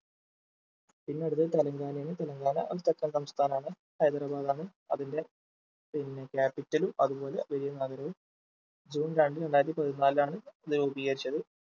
പിന്നെ അടുത്തത് തെലുങ്കാനയാണ് തെലുങ്കാന ഒരു തെക്കൻ സംസ്ഥാനമാണ് ഹൈദരാബാദ് ആണ് അതിന്റെ പിന്നെ Capital ഉം അതുപോലെ വലിയ നഗരവും ജൂൺ രണ്ട് രണ്ടായിരത്തി പതിനാലിലാണ് ഇത് രൂപീകരിച്ചത്